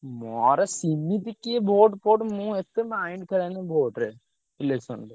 ମୋର ସେମିତି କିଏ vote ଫୋଟ ମୁଁ ଏତେ mind ଖେଳାଏନି vote ରେ election ରେ।